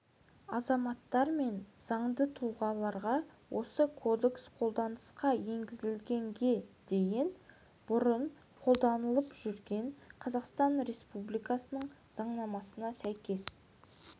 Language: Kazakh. азаматтар мен заңды тұлғаларға осы кодекс қолданысқа енгізілгенге дейін бұрын қолданылып жүрген қазақстан республикасының заңнамасына сәйкес